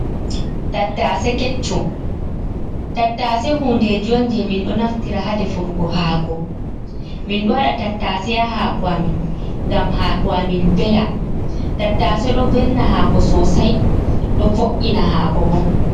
Tattase keccum: Tattase hunde on je min ɗo naftira hadefurgo haako. Min ɗo waɗa tattase ha haako amin ngam haako amin vela. Tattase ɗo velna haako sosai. Ɗo vo’ina haako bo.